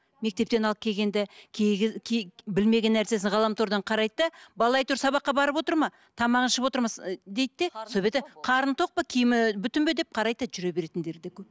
мектептен алып келгенде кей кез кей білмеген нәрсесін ғаламтордан қарайды да бала сабаққа барып отыр ма тамағын ішіп отыр ма дейді де сол беті қарны тоқ па киімі бүтін бе деп қарайды да жүре беретіндері де көп